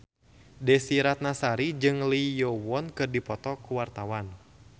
Desy Ratnasari jeung Lee Yo Won keur dipoto ku wartawan